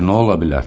Axı nə ola bilər?